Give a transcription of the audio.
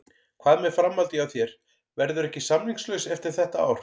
Hvað með framhaldið hjá þér, verðurðu ekki samningslaus eftir þetta ár?